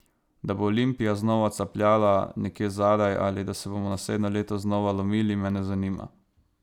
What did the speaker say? Da bo Olimpija znova capljala nekje zadaj ali, da se bomo naslednje leto znova lomili, me ne zanima.